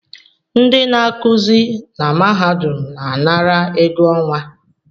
Ndị na-akụzị na mahadum na-anara ego ọnwa